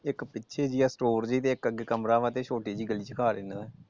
ਇੱਕ ਪਿੱਛੇ ਵੀ ਆ ਸਟੋਰ ਤੇ ਇਕ ਅੱਗੇ ਕਮਰਾ ਆ ਤੇ ਛੋਟੀ ਜਿਹੀ ਗੱਲੀ ਚ ਘਰ ਇਹਨਾਂ ਦਾ ।